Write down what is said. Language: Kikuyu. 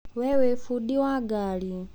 Wee nĩ bundi wa ngaari.